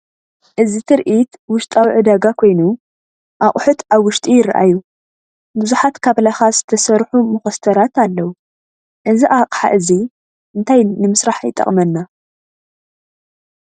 እዚ ትርኢት ውሽጣዊ ዕዳጋ ኮይኑ፡ ኣቑሑት ኣብ ውሽጢ ይራኣዩ። ብዙሓት ካብ ላኻ ዝተሰርሑ መኾስተራት ኣለው፡፡ እዚ ኣቕሓ እዚ እንታይ ንምስራሕ ይጠቅመና?